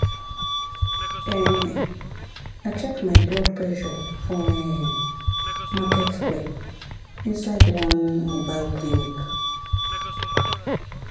ehn i check my blood pressure for[um]market square inside one mobile clinic.